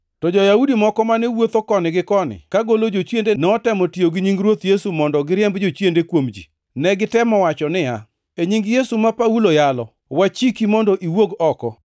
To jo-Yahudi moko mane wuotho koni gi koni kagolo jochiende notemo tiyo gi nying Ruoth Yesu mondo giriemb jochiende kuom ji. Ne gitemo wacho niya, “E nying Yesu ma Paulo yalo, wachiki mondo iwuog oko!”